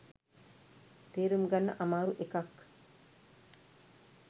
තේරුම් ගන්න අමාරු එකක්